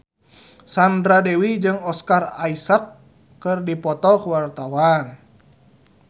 Sandra Dewi jeung Oscar Isaac keur dipoto ku wartawan